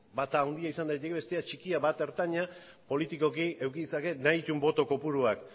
bata handia izan daiteke bestea txikia bat ertaina politikoki eduki ditzake nahi dituen boto kopuruak